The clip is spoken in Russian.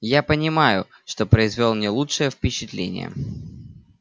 я понимаю что произвёл не лучшее впечатление